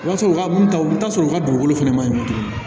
O b'a sɔrɔ u ka sɔrɔ u ka dugukolo fɛnɛ ma ɲi tuguni